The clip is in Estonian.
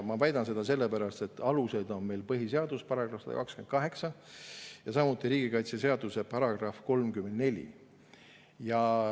Ma väidan seda sellepärast, et alused on meil põhiseaduse §‑s 128 ja samuti riigikaitseseaduse §‑s 34.